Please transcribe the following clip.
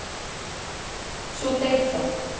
Svo deyr það.